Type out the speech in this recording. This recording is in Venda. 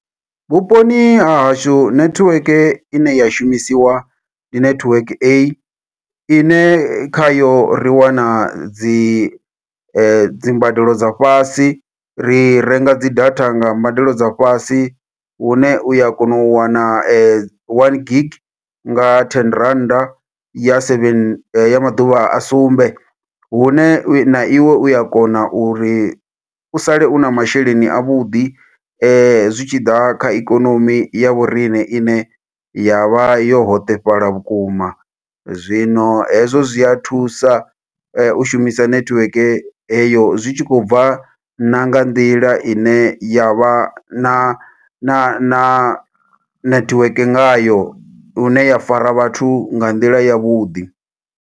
Vhuponi ha hashu netiweke ine ya shumisiwa, ndi netiweke A, ine kha yo ri wana dzi dzimbadelo dza fhasi. Ri renga dzi data nga mbadelo dza fhasi, hune uya kona u wana one gig nga ten rannda ya seven, ya maḓuvha a sumbe. Hune na iwe u ya kona uri u sale u na masheleni a vhuḓi, zwi tshi ḓa kha ikonomi ya vhoriṋe ine ya vha yo hoṱefhala vhukuma. Zwino hezwo zwi a thusa, u shumisa netiweke heyo. Zwi tshi khou bva na nga nḓila ine ya vha na na na netiweke ngayo, hune ya fara vhathu nga nḓila ya vhuḓi.